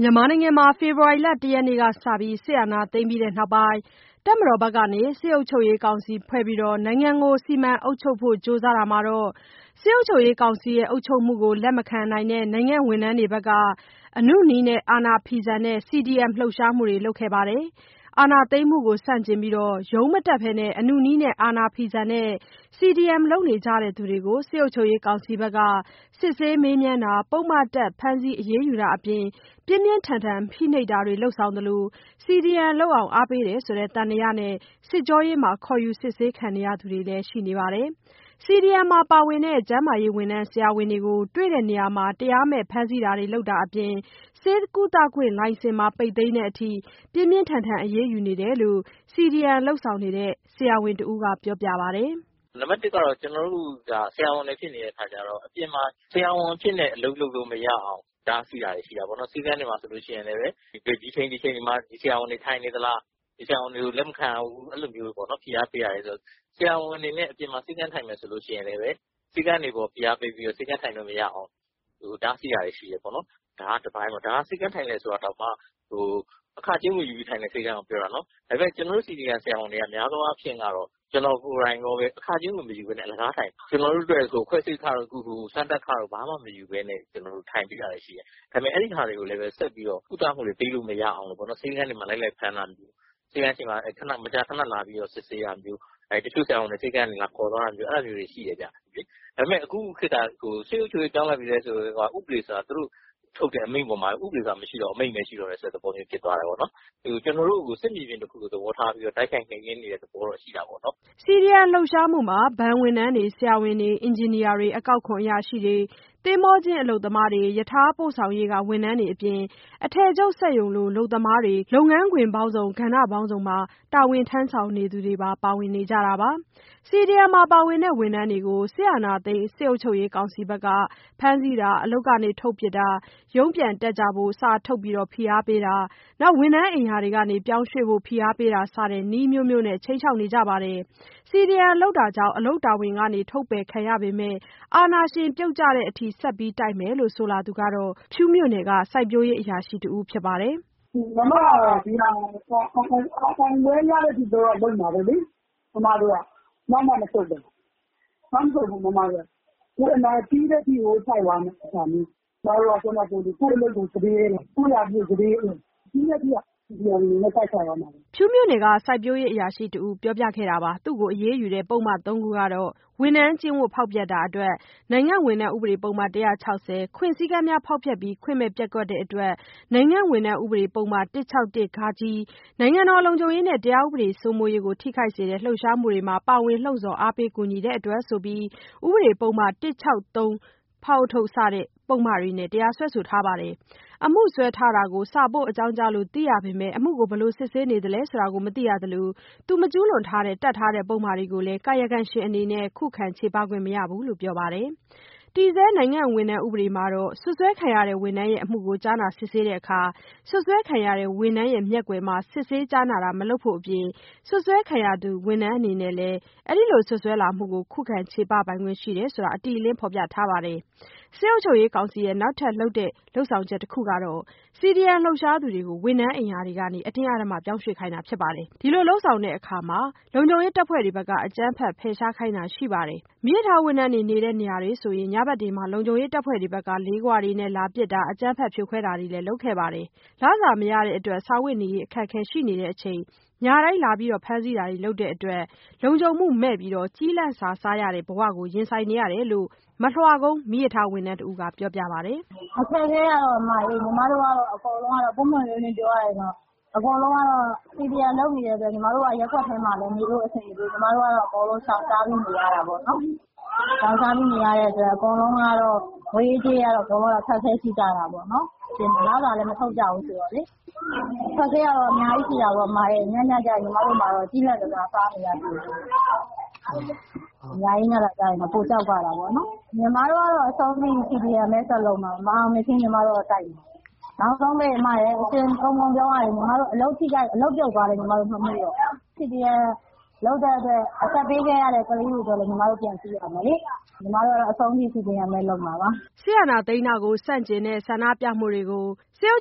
မြန်မာနိုင်ငံမှာ ဖေဖော်ဝါရီလ ၁ ရက်နေ့က စပြီး စစ်အာဏာသိမ်းပြီးတဲ့ နောက်ပိုင်း တပ်မတော်ဘက်က စစ်အုပ်ချုပ်ရေးကောင်စီဖွဲ့ပြီး နိုင်ငံကို စီမံအုပ်ချုပ်ဖို့ ကြိုးစားတာမှာတော့ စစ်အုပ်ချုပ်ရေးကောင်စီအုပ်ချုပ်မှုကို လက်မခံနိုင်တဲ့ နိုင်ငံဝန်ထမ်းတွေဘက်က အနုနည်းနဲ့ အာဏာဖီဆန်တဲ့ CDM လှုပ်ရှားမှုတွေ လုပ်ခဲ့တာပါ။ အာဏာသိမ်းမှုကို ဆန့်ကျင်ပြီး ရုံးမတက်ဘဲ အနုနည်းနဲ့ အာဏာဖီဆန်တဲ့ CDM လုပ်နေကြသူတွေကို စစ်ကောင်စီ ဘက်က စစ်ဆေး မေးမြန်းတာ၊ ပုဒ်မတပ် ဖမ်းဆီး အရေးယူတာတွေအပြင် ပြင်းပြင်းထန်ထန် ဖိနှိပ်တာတွေ လုပ်ဆောင်သလို CDM လုပ်အောင် အားပေးနေတယ်ဆိုတဲ့ သံသယနဲ့ စစ်ကြောရေးမှာ ခေါ်ယူစစ်ဆေးခံနေရသူတွေလည်းရှိနေပါတယ်။ CDM မှာပါဝင်တဲ့ ဆရာဝန်တွေကို တွေ့တဲ့နေရာမှာ တရားမဲ့ဖမ်းဆီးမှုတွေ လုပ်တာတွေအပြင် ဆေးကုသခွင့်လိုင်စင်ပါ ပိတ်သိမ်းတဲ့အထိ ပြင်းပြင်းထန်ထန် အရေးယူတာတွေ လုပ်ဆောင်နေတယ်လို့ CDM လုပ်နေတဲ့ ဆရာဝန်တဦးကပြောပါတယ်။ "နံပတ် ၁ ကတော့ ကျနော်တို့ကို ဆရာဝန်ဖြစ်နေတာ့ အပြင်မှာ ဆရာဝန်အဖြစ်နဲ့ လုပ်လို့မရအောင်တားဆီးတာတွေတော့ ရှိတာပေါ့နော်။ ဆေးခန်းတွေမှာဆိုလို့ရှိရင်လည်း ဒီအချိန်၊ ဒီအချိန်တွေမှာ ဒီဆရာဝန်တွေ ထိုင်နေသလား၊ ဒီဆရာဝန်တွေကို လက်မခံရဘူး... အဲဒီလိုမျိုးတွေပေါ့နော်.... ဖိအားပေးတာပေါ့။ ဆရာဝန်အနေနဲ့ အပြင်မှာ ဆေးခန်း ထိုင်မယ်ဆိုရင်လည်း ဆေးခန်းတွေကို ဖိအားပေးပြီးတော့ ဆေးခန်းထိုင်လို့ မရအောင် တားဆီးတာတွေရှိတယ်ပေါ့နော်... ဒါက တပိုင်းပေါ့။ ဒါက ဆေးခန်းထိုင်တယ်ဆိုရင်တာတောင်မှ အခကြေးငွေယူပြီး ထိုင်တဲ့ဆေးခန်းကိုပြောတာနော်။ ဒါပေမဲ့ ကျနော်တို့ CDM ဆရာဝန်တွေက များသောအားဖြင့်တော့ ကျနော်ကိုယ်တိုင်ရောပဲ အခကြေးငွေ မယူဘဲနဲ့ အလကားထိုင်တာ။ ခွဲစိတ်ခတို့၊ စမ်းသပ်ခတို့ ဘာမှမယူဘဲနဲ့ ထိုင်ပေးတာတွေလည်းရှိတယ်။ ဒါပေမဲ့ အဲဒီဟာတွေကိုလည်းပဲ ဆက်ပြီးတော့ ကုသမှုတွေပေးလို့ မရအောင် ဆေးခန်းတွေမှာ လိုက်လိုက်ပြီးတော့ ဖမ်းတာမျိုး၊ ဆေးခန်းရှေ့မှာ မကြခဏ စစ်ဆေးတာမျိုး၊ ဆရာဝန်တွေကို ဆေးခန်းကနေ လာခေါ်သွားတာမျိုး... အဲဒါမျိုးတွေ ရှိတယ်။ ဒါပေမဲ့ အခုခေတ်က စစ်အုပ်ချုပ်ရေး ပြောင်းတော့ ဥပဒေဆိုတာ မရှိတော့ဘူး၊ သူတို့ထုတ်တဲ့ အမိန့်ပဲ ရှိတော့တယ်ဆိုတဲ့ သဘောမျိုး ဖြစ်သွားတယ်။ ကျနော်တို့ကို စစ်မြေပြင်တခုလို တိုက်ခိုက်နှိမ်နင်းနေတဲ့ သဘောတော့ ရှိတာပေါ့နော်။" CDM လှုပ်ရှားမှုမှာ ဘဏ်ဝန်ထမ်းတွေ၊ ဆရာဝန်တွေ၊ အင်ဂျင်နီယာတွေ၊ အကောက်ခွန်အရာရှိတွေ၊ သင်္ဘောကျင်း အလုပ်သမားတွေ၊ ရထားပို့ဆောင်ရေးက ဝန်ထမ်းတွေအပြင် အထည်ချုပ်စက်ရုံက အလုပ်သမားတွေလို လုပ်ငန်းခွင်ပေါင်းစုံ၊ ကဏ္ဍမျိုးစုံမှာ တာဝန်ထမ်းဆောင်နေသူတွေ ပါဝင်နေကြတာ ဖြစ်ပါတယ်။ CDM မှာပါဝင်တဲ့ ဝန်ထမ်းတွေကို အာဏာသိမ်းစစ်ကောင်စီက ဖမ်းဆီးတာ၊ အလုပ်ကနေ ထုတ်ပစ်တာ၊ ရုံးပြန်တက်ကြဖို့ စာထုတ်ဖိအားပေးတာ၊ ဝန်ထမ်းအိမ်ရာတွေကနေ ပြောင်းရွှေ့ဖို့ ဖိအားပေးတာစတဲ့ နည်းအမျိုးမျိုးနဲ့ ခြိမ်းခြောက်နေပါတယ်။ CDM လုပ်တာကြောင့် အလုပ်တာဝန်ကနေ ထုတ်ပယ်ခံရပေမဲ့ အာဏာရှင်ပြုတ်ကျတဲ့ အထိဆက်ပြီး တိုက်မယ်လို့ ဆိုလာသူကတော့ ဖြူးမြို့နယ် စိုက်ပျိုးရေးအရာရှိ တဦး ဖြစ်ပါတယ်။ "ကျမကတော့ ဒါကိုအောင်ပွဲရတဲ့ အထိလုပ်မှာပဲ။ ကျမတို့ကနောက်မဆုတ်တာ၊ နောက်မဆုတ်ဘူး ပြီးတဲ့ အထိတိုက်မယ်။ ကိုယ့်ရာထူးစတေးရဲတယ်။ အလုပ်ကို စတေးရဲတယ်။ ပြီးတဲ့ထိ CDM အနေနဲ့ တိုက်ခိုက်သွားမယ်။" သူမကို အရေးယူတဲ့ ပုဒ်မ ၃ ခုကတော့ ဝန်ထမ်းကျင့်ဝတ်ဖောက်ဖျက်တာအတွက် နိုင်ငံဝန်ထမ်း ဥပဒေ ပုဒ်မ ၁၆၀၊ ခွင့်စည်းကမ်းများကို ဖောက်ဖျက်ပြီး ခွင့်မဲ့ပျက်ကွက်တဲ့အတွက် နိုင်ငံဝန်ထမ်း ဥပဒေ ပုဒ်မ ၁၆၁- ဃ၊ နိုင်ငံတော် လုံခြုံရေးနဲ့ တရားဥပဒေစိုးမိုးရေးကို ထိခိုက်စေတဲ့ လှုပ်ရှားမှုတွင် ပါဝင်လှုံ့ဆော်အားပေးကူညီတဲ့အတွက်ဆိုပြီး ဥပဒေပုဒ်မ ၁၆၃ -ဖ စတဲ့ ပုဒ်မတွေနဲ့ တရားစွဲဆိုထားပါတယ်။ အမှုစွဲထားတာကိုစာပို့ အကြောင်းကြားလို့ သိခဲ့ရပေမဲ့ အမှုကို ဘယ်လိုစစ်ဆေးနေသလဲဆိုတာ မသိရသလို မကျူးလွန်ခဲ့တဲ့ တပ်ထားတဲ့ ပုဒ်မတွေကိုလည်း ကာယကံရှင်အနေနဲ့ ခုခံချေပခွင့်မရဘူးလို့ ပြောပါတယ်။ တည်ဆဲ နိုင်ငံဝန်ထမ်း ဥပဒေမှာ စွပ်စွဲခံရတဲ့ ဝန်ထမ်းရဲ့ အမှုကို ကြားနာစစ်ဆေးတာမှာစွပ်စွဲခံရတဲ့ ဝန်ထမ်းမျက်ကွယ်မှာ စစ်ဆေးကြားနာတာ မလုပ်ဖို့ အပြင် စွပ်စွဲခံရသူ ဝန်ထမ်းအနေနဲ့ စွပ်စွဲမှုကို ခုခံချေပခွင့်ရှိတယ်လို့ အတိအလင်းဖော်ပြထားပါတယ်။ စစ်ကောင်စီရဲ့ နောက်ထပ် ဖိနှိပ်တဲ့ လုပ်ဆောင်ချက်တချက်ကတော့ CDM လှုပ်ရှားသူတွေကို ဝန်ထမ်းအိမ်ယာတွေကနေ အတင်းအဓမ္မ ပြောင်းရွှေ့ခိုင်းတာပါ။ အဲဒီလို လုပ်ဆောင်တဲ့နေရာမှာ အကြမ်းဖက် ဖယ်ရှားခိုင်းတာတွေလည်း ရှိပါတယ်။ မီးရထားဝန်ထမ်းတွေ နေတဲ့နေရာတွေဆို ညဘက်တွေမှာ လုံခြုံရေး တပ်ဖွဲ့တွေက လေးခွနဲ့ လာပစ်တာ၊ အကြမ်း ဖက်ဖြိုခွဲ တာတွေလုပ်ခဲ့တာတွေ ရှိပါတယ်။ လစာမရကြတဲ့အတွက် စားဝတ်နေရေးလည်း အခက်အခဲရှိကြတဲ့ အပြင် ညတိုင်း လာရောက်ဖမ်းဆီးတာ တွေလုပ် တာကြောင့် လုံခြုံမှုမဲ့ ကျီးလန့်စာစားရတဲ့ ဘဝနဲ့ ရင်ဆိုင်နေရတယ်လို့ မလွှကုန်း မီးရထားဝန်ထမ်းတဦးက ပြောပါတယ်။ "အခက်အခဲကတော့ အမရေ... ပွင့်ပွင့်လင်းလင်းပြောရရင် အကုန်လုံးက CDM လုပ်နေကြတဲ့အတွက် ညီမတို့ ရပ်ကွက်ထဲ နေလို့မရဘူး။ ညီမတို့က ရှောင်ရှားပြီးနေရ တာပေါ့နော်။ ရှောင်ရှားနေရတော့ ငွေရေးကြေးရေး အခက်အခဲရှိတာပေါ့။ လစာလည်း မထုတ်ကြဘူးဆိုတော့လေ။ အခက်အခဲကများကြီးရှိတာပေါ့ ညညကျရင် ညီမတို့မှာ ကျီးလန့်စာစားနေရတာပေါ့။ ညရေးညတာ ပိုကြောက်ရတာပေါ့။ ညီမတို့ကတော့ CDM ပဲ ဆက်လုပ်မယ်။ မအောင်မြင်မချင်းတိုက်မှာ။ နောက်ဆုံးပိတ် ညီမအလုပ်ပြုတ်သွားလည်း မမှုတော့ဘူး။ CDM လုပ်လို့ အသက်ပေးရသူတွေကိုလည်း ကြည့်ရဦးမယ်။ အဆုံးထိညီမတို့တိုက်မှာပါ။" အာဏာသိမ်းတာကို ဆန့်ကျင်တဲ့ ဆန္ဒပြမှုတွေကို စစ်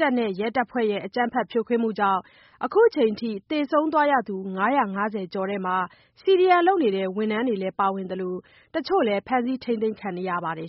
တပ်နဲ့ ရဲတပ်ဖွဲ့တို့ရဲ့ အကြမ်းဖက်ဖြိုခွဲမှုကြောင့် အခုချိန် အထိ သေဆုံးခဲ့ရသူ ၅၅၀ ကျော်ထဲမှာ CDM လုပ်နေတဲ့ ဝန်ထမ်းတွေလည်း ပါဝင်နေသလို တချို့လည်း ဖမ်းဆီး ထိန်းသိမ်းခံထားရပါတယ်